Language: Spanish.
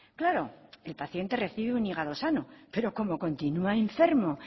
claro el paciente recibe un hígado sano pero como continua enfermo